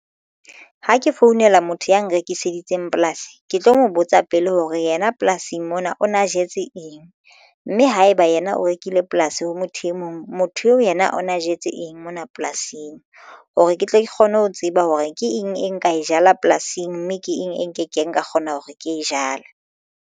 Ha ke founela motho ya nrekiseditseng polasi ke tlo mo botsa pele hore yena polasing mona o na jetse eng mme haeba yena o rekile polasi ho motho e mong motho eo yena o na jetse eng mona polasing hore ke tle ke kgone ho tseba hore ke eng e nka e jala polasing mme ke eng e nke keng ka kgona hore ke e jale.